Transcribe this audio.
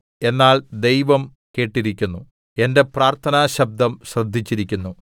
എന്നാൽ ദൈവം കേട്ടിരിക്കുന്നു എന്റെ പ്രാർത്ഥനാശബ്ദം ശ്രദ്ധിച്ചിരിക്കുന്നു